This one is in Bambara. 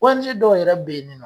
ONG dɔw yɛrɛ be yen ni nɔ